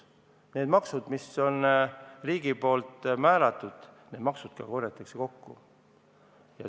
Need maksud, mis riik on määranud, need ka korjatakse kokku.